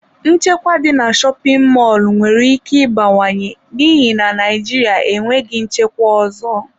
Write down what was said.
Nchekwa dị na shopin mọlụ nwere ike ịbawanye n'ihi na Naịjirịa enweghị nchekwa ọzọ.